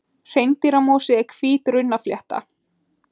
Hreindýramosi er hvít runnaflétta.